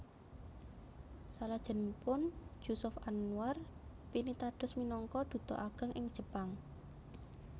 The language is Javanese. Salajengipun Jusuf Anwar pinitados minangka duta ageng ing Jepang